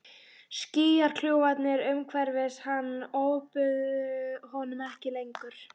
Skýjakljúfarnir umhverfis hann ofbuðu honum ekki lengur.